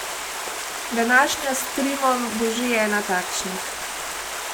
Današnja s Trimom bo že ena takšnih.